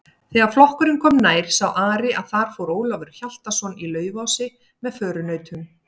Þegar flokkurinn kom nær sá Ari að þar fór Ólafur Hjaltason í Laufási með förunautum.